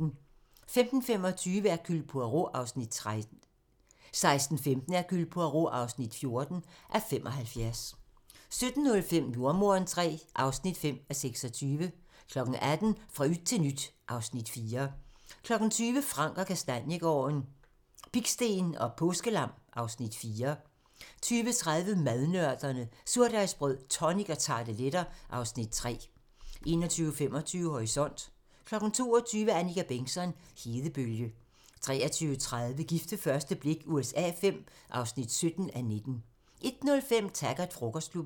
15:25: Hercule Poirot (13:75) 16:15: Hercule Poirot (14:75) 17:05: Jordemoderen III (5:26) 18:00: Fra yt til nyt (Afs. 4) 20:00: Frank & Kastaniegaarden - Pigsten og påskelam (Afs. 4) 20:30: Madnørderne - Surdejsbrød, tonic og tarteletter (Afs. 3) 21:25: Horisont 22:00: Annika Bengtzon: Hedebølge 23:30: Gift ved første blik USA V (17:19) 01:05: Taggart: Frokostklubben